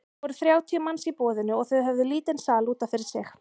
Það voru þrjátíu manns í boðinu og þau höfðu lítinn sal út af fyrir sig.